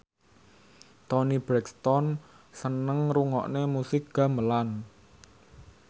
Toni Brexton seneng ngrungokne musik gamelan